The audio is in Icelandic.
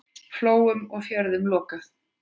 Flóum og fjörðum lokað.